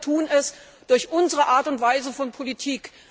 Wir selber tun es durch unsere Art und Weise der Politik.